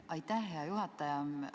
Aitäh, hea juhataja!